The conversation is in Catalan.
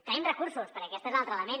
tenim recursos perquè aquest és l’altre element